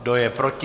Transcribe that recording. Kdo je proti?